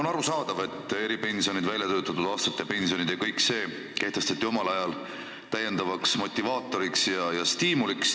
On arusaadav, et eripensionid, väljatöötatud aastate pensionid ja kõik need kehtestati omal ajal täiendavaks motivaatoriks ja stiimuliks.